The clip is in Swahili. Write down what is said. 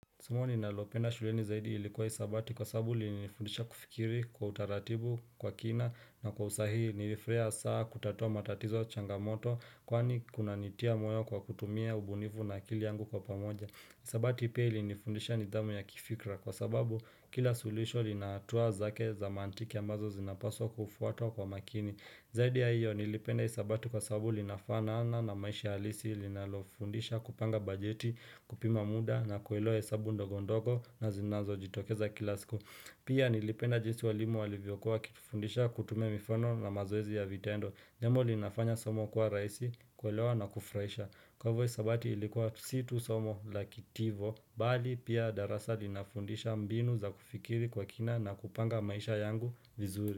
Somo ninalopenda shuleni zaidi ilikuwa hisabati kwa sababu lilinifundisha kufikiri kwa utaratibu kwa kina na kwa usahihi nilifrahia sana kutatua matatizo changamoto kwani kunanitia moyo kwa kutumia ubunifu na akili yangu kwa pamoja. Hisabati pia ilifundisha nidhamu ya kifikra kwa sababu kila suluhisho lina hatua zake za mantiki ambazo zinapaswa kufuatwa kwa makini. Zaidi ya hiyo nilipenda hisabati kwa sababu linafanana na maisha halisi linalofundisha kupanga bajeti kupima muda na kuelewa hesabu ndogondogo na zinazojitokeza kila siku. Pia nilipenda jinsi walimu walivyokua wakifundisha kutumia mifano na mazoezi ya vitendo. Jambo linafanya somo kwa raisi kuelewa na kufraisha. Kwa hivyo hisabati ilikuwa si tu somo la kitivo. Bali pia darasa linafundisha mbinu za kufikiri kwa kina na kupanga maisha yangu vizuri.